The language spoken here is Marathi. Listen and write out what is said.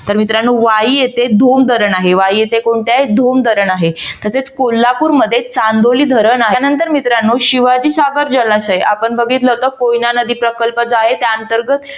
तर मित्रानो वाही येथे धोम धरण आहे. वाळी येथे कोणते आहे? धोम धरण आहे. तसेच कोल्हापूर मध्ये चांदोली धरण आहे. त्यानंतर मित्रानो शिवाजीसागर जलाशय आपण बघितलं होत कोयना नदी प्रकल्प जो आहे त्या अंतर्गत